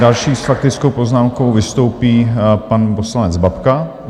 Další s faktickou poznámkou vystoupí pan poslanec Babka.